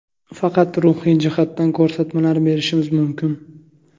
Faqat ruhiy jihatdan ko‘rsatmalar berishimiz mumkin.